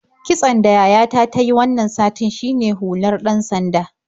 Kitson da yayata ta yi wannan satin shine hular ɗan-sanda.